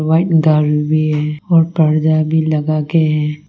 White भी है और पर्दा भी लगा के है।